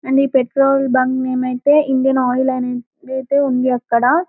and ఈ petrol bunk name అయితే Indian Oil అని అయితే ఉంది అక్కడ --